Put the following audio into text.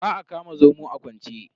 Ba a kama zomo a kwance.